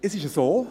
Es ist so: